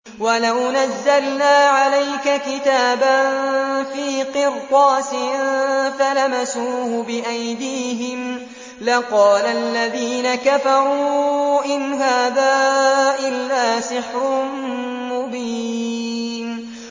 وَلَوْ نَزَّلْنَا عَلَيْكَ كِتَابًا فِي قِرْطَاسٍ فَلَمَسُوهُ بِأَيْدِيهِمْ لَقَالَ الَّذِينَ كَفَرُوا إِنْ هَٰذَا إِلَّا سِحْرٌ مُّبِينٌ